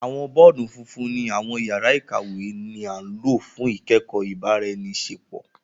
Awọn bọọdu fúnfún ni awọn yàrá ìkàwé ni a lo fun ikẹkọ ibaraẹniṣepo.